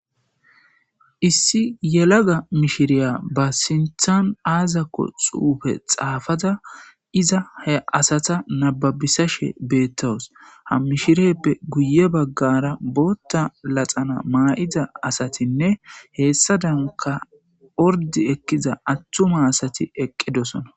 Issi yelaga mishiriya ba sinthan aazako xuufe xaafaza iza he asata nababisashe beettawus ha mishirieppe guye baggara bootta laxana maa7ida asatinne heessa danka ordi ekkiza attuma asati eqqidosona.